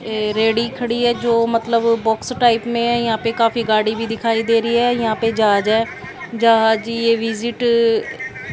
ये रेडी खड़ी है जो मतलब बॉक्स टाइप में यहां पे काफी गाडी भी दिखाई दे रही है यहां पे जहाज है ये विजिट --